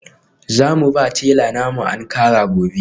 Za mu ba tela na mu Ankara gobe.